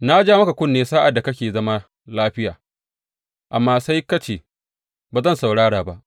Na ja maka kunne sa’ad da kake zama lafiya, amma sai ka ce, Ba zan saurara ba!’